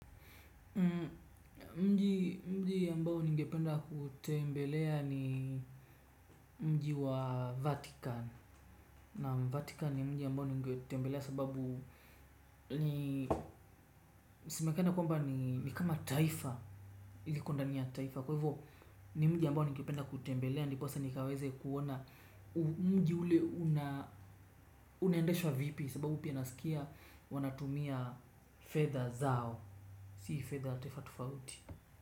Mji mji ambao ningependa kutembelea ni mji wa vatikan naam vatikan ni mji ambao ningetembelea sababu ni semekana kwamba ni kama taifa iiliko ndani ya taifa. Kwa hivyo ni mji ambao ningependa kutembelea. Ndiposa nikawaze kuona mji ule unaendeshwa vipi. Sababu pia nasikia wanatumia fedha zao. Sii fedha tofauti tofauti.